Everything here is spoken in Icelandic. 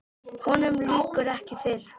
Honum lýkur ekki fyrr.